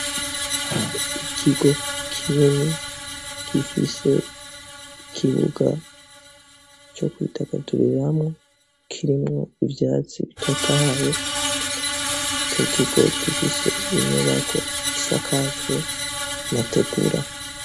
Ikigo kinini gifise ikibuga co kwidagaduriramwo kirimwo ivyatsi bitotahaye, ico kigo gifise inyubako isakajwe amategura.